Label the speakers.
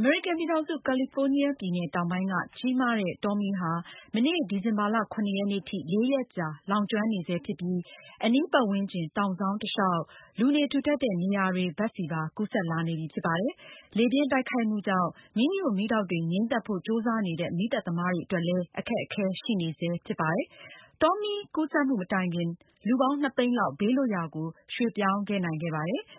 Speaker 1: အမေရိကန်ပြည်ထောင်စု ကယ်လီဖိုးနီးယားပြည်နယ်တောင်ပိုင်းမှာ ကြီးမားတဲ့ တောမီးဟာ မနေ့ ဒီဇင်ဘာလ ၇ ရက်နေ့ထိ လေးရက်ကြာ လောင်ကျွမ်းနေဆဲဖြစ်ပြီး အနီးပတ်ဝန်းကျင် တောင်စောင်း တလျောက် လူနေထူထပ်တဲ့ နေရာတွေဘက်ဆီပါ ကူးစက်လာနေပြီဖြစ်ပါတယ်။ လေပြင်းတိုက်ခိုက်မှုကြောင့် မီးညွှန့်မီးတောက်တွေငြိမ်းသတ်ဖို့ ကြိုးစားနေတဲ့ မီးသတ်သမားတွေ အတွက် အခက်အခဲရှိနေဆဲဖြစ်ပါတယ်။ တောမီးကူးစက်မှုမတိုင်ခင် လူပေါင်း ၂ သိန်းလောက် ဘေးလွတ်ရာကို ရွှေ့ပြောင်းခဲ့ပြီဖြစ်ပါတယ်။